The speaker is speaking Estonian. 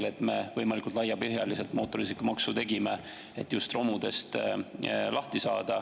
Me tegime ju võimalikult laiapõhjalise mootorsõidukimaksu just selleks.